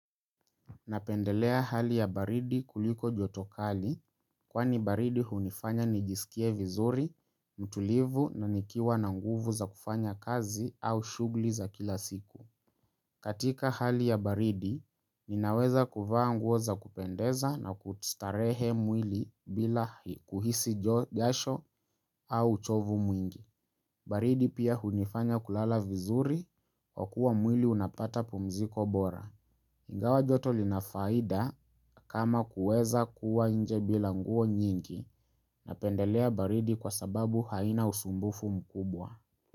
Napendelea hali ya baridi kuliko joto kali kwani baridi hunifanya nijisikie vizuri, mtulivu na nikiwa na nguvu za kufanya kazi au shughuli za kila siku. Katika hali ya baridi, ninaweza kuvaa nguo za kupendeza na kujistarehe mwili bila kuhisi jasho au uchovu mwingi. Baridi pia hunifanya kulala vizuri kwa kuwa mwili unapata pumziko bora. Ingawa joto lina faida kama kuweza kuwa nje bila nguo nyingi napendelea baridi kwa sababu haina usumbufu mkubwa.